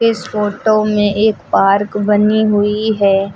इस फोटो में एक पार्क बनी हुई है।